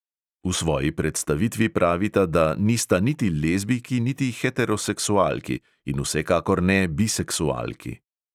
V svoji predstavitvi pravita, da "nista niti lezbijki niti heteroseksualki in vsekakor ne biseksualki".